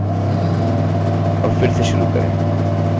हमें पहले से ही hello मिला है